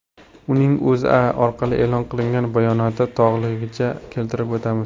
Uning O‘zA orqali e’lon qilingan bayonotini to‘lig‘icha keltirib o‘tamiz.